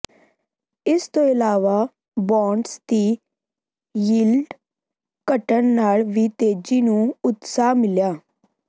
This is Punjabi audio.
ਇਸ ਤੋਂ ਇਲਾਵਾ ਬਾਂਡਸ ਦੀ ਯੀਲਡ ਘਟਣ ਨਾਲ ਵੀ ਤੇਜ਼ੀ ਨੂੰ ਉਤਸ਼ਾਹ ਮਿਲਿਆ